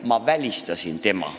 "– "Ma välistasin tema.